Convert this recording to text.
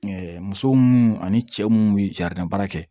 muso munnu ani cɛ munnu be jaran baara kɛ